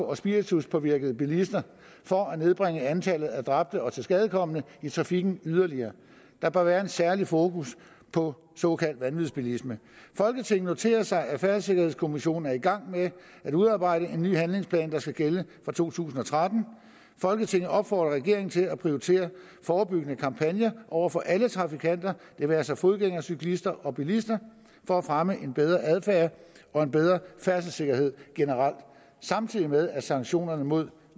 og spirituspåvirkede bilister for at nedbringe antallet af dræbte og tilskadekomne i trafikken yderligere der bør være en særlig fokus på såkaldt vanvidsbilisme folketinget noterer sig at færdselssikkerhedskommissionen er i gang med at udarbejde en ny handlingsplan der skal gælde fra to tusind og tretten folketinget opfordrer regeringen til at prioritere forebyggende kampagner over for alle trafikanter det være sig fodgængere cyklister og bilister for at fremme en bedre adfærd og en bedre færdselssikkerhed generelt samtidig med at sanktionerne mod